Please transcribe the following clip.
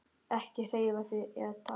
Ekki hreyfa þig eða tala.